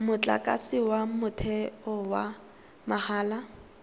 motlakase wa motheo wa mahala